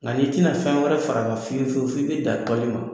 Nka n'i tɛna fɛn wɛrɛ far'a kan fiyewu f'i bɛ na dan tɔli ma.